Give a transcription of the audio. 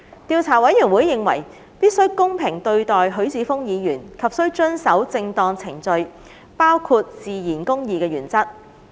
調査委員會認為必須公平對待許智峯議員及須遵守正當程序，包括自然公義的原則。